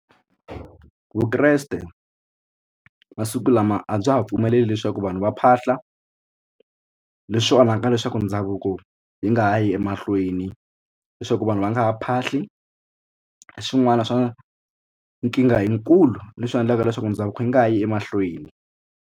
Vukreste masiku lama a bya ha pfumeleli leswaku vanhu va phahla leswi onhaka leswaku ndhavuko yi nga ha yi emahlweni leswaku vanhu va nga ha phahli swin'wana swa nkingha yikulu leswi endlaka leswaku ndhavuko yi nga ha yi emahlweni.